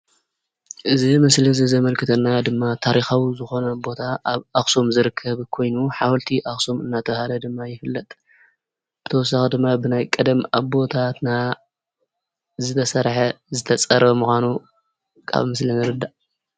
እዚ ምስሊ እዚ ዘመልክተና ድማ ታሪኻዊ ዝኾነ ቦታ አብ አክሱም ዝርከብ ኮይኑ ሓወልቲ አክሱም እናተባሃለ ድማ ይፍለጥ። ብተወሳኪ ድማ ብናይ ቀደም አቦታትና ዝተሰርሐ ዝተፀረበ ምዃኑ ካብ ምስሊ ንርዳእ።